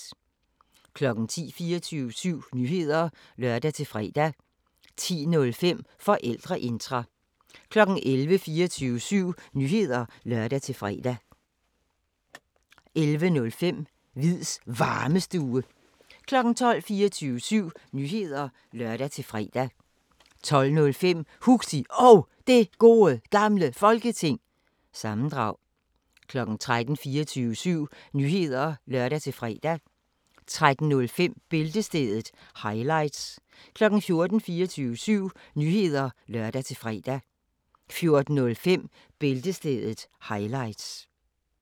10:00: 24syv Nyheder (lør-fre) 10:05: Forældreintra 11:00: 24syv Nyheder (lør-fre) 11:05: Hviids Varmestue 12:00: 24syv Nyheder (lør-fre) 12:05: Huxi Og Det Gode Gamle Folketing- sammendrag 13:00: 24syv Nyheder (lør-fre) 13:05: Bæltestedet – highlights 14:00: 24syv Nyheder (lør-fre) 14:05: Bæltestedet – highlights